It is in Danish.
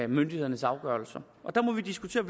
myndighedernes afgørelse der må vi diskutere